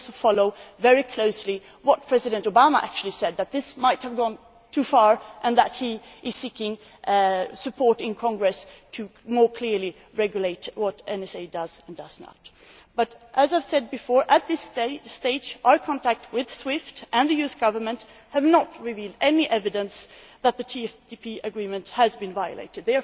We also followed very closely what President Obama actually said namely, that this might have gone too far and that he is seeking support in Congress to regulate more clearly what the NSA does and does not do. But as I have said before, at this stage our contacts with SWIFT and the US Government have not revealed any evidence that the TFTP Agreement has been violated.